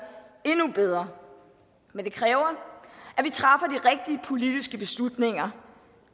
endnu bedre men det kræver at politiske beslutninger